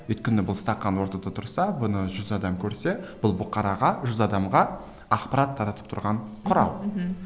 өйткені бұл стақан ортада тұрса бұны жүз адам көрсе бұл бұқараға жүз адамға ақпарат таратып тұрған құрал мхм